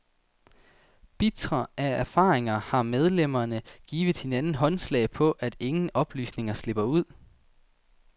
Bitre af erfaringer har medlemmerne givet hinanden håndslag på, at ingen oplysninger slipper ud.